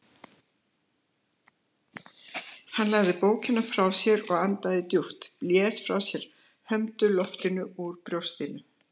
Hann lagði bókina frá sér og andaði djúpt, blés frá sér hömdu lofti úr brjóstinu.